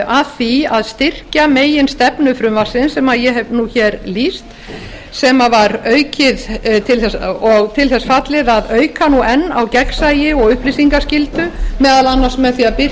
að því að styrkja meginstefnu frumvarpsins sem ég hef lýst sem var til þess fallið að auka enn á gegnsæi og upplýsingaskyldu meðal annars með því að